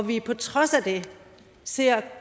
vi på trods af det ser